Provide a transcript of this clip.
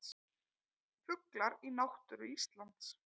Fuglar í náttúru Íslands.